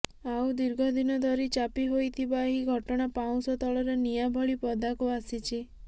ଆଉ ଦୀର୍ଘ ଦିନ ଧରି ଚାପି ହୋଇଥିବା ଏହି ଘଟଣା ପାଉଁଶ ତଳର ନିଆଁ ଭଳି ପଦାକୁ ଆସିଛି